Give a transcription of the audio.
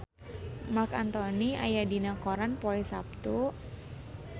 Marc Anthony aya dina koran poe Saptu